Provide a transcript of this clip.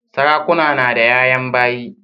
Sarakuna nada yayan bayi